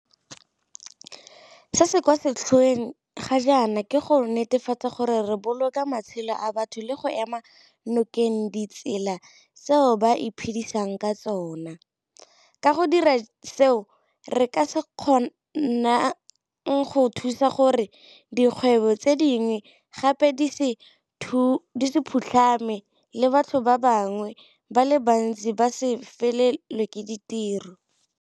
Se se kwa setlhoeng ga jaana ke go netefatsa gore re boloka matshelo a batho le go ema nokeng ditsela tseo ba iphedisang ka tsona, ka go dira seo re ka se kgonang go thusa gore dikgwebo tse dingwe gape di se phutlhame le batho ba bangwe ba le bantsi ba se felelwe ke ditiro.